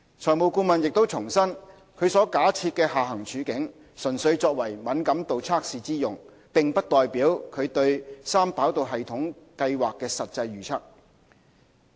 財務顧問亦重申，其所假設的下行處境，純粹作為敏感度測試之用，並不代表其對三跑道系統計劃的實際預測。